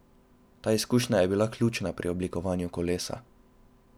Ta izkušnja je bila ključna pri oblikovanju kolesa.